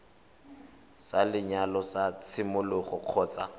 sa lenyalo sa tshimologo kgotsa